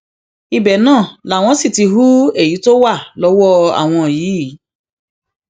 ibẹ náà làwọn sì ti hu èyí tó wà lọwọ àwọn yìí